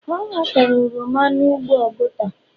ọ Ọ ghọtara oroma n'ugbo oguta.